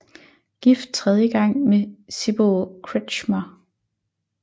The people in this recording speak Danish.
Gift tredje gang med Sibylle Kretschmer